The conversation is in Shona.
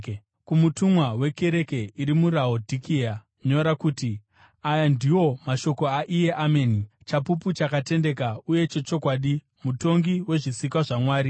“Kumutumwa wekereke iri muRaodhikea nyora kuti: Aya ndiwo mashoko aiye Ameni, chapupu chakatendeka uye chechokwadi, mutongi wezvisikwa zvaMwari.